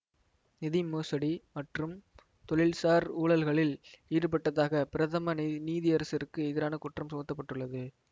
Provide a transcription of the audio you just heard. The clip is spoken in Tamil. நிதி மோசடி மற்றும் தொழில்சார் ஊழல்களில் ஈடுபட்டதாக பிரதம நீ நீதியரசருக்கு எதிரான குற்றம் சுமத்த பட்டுள்ளது